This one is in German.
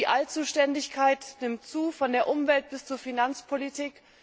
Die Allzuständigkeit nimmt zu, von der Umwelt bis zur Finanzpolitik.